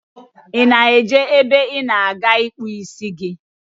Ị na-eje ebe ị ga-akpụ isi gị?